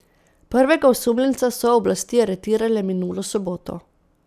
Prvega osumljenca so oblasti aretirale minulo soboto.